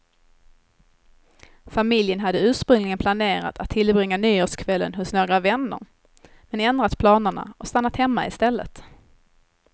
Familjen hade ursprungligen planerat att tillbringa nyårskvällen hos några vänner, men ändrat planerna och stannat hemma istället.